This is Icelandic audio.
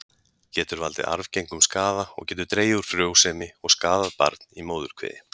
Getur valdið arfgengum skaða og getur dregið úr frjósemi og skaðað barn í móðurkviði.